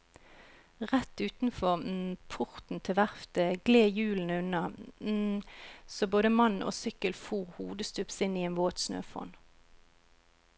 Rett utenfor porten til verftet gled hjulene unna så både mann og sykkel fór hodestups inn i en våt snøfonn.